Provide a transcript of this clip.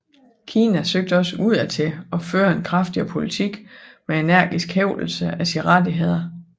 Kina søgte også udad til at føre en kraftigere politik med energisk hævdelse af sine rettigheder